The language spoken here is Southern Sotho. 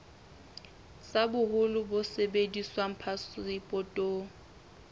tsa boholo bo sebediswang phasepotong